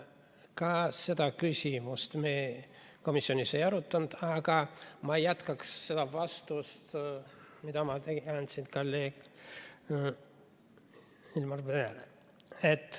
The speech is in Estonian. Ka seda küsimust me komisjonis ei arutanud, aga ma jätkaks seda vastust, mille ma andsin kolleegile.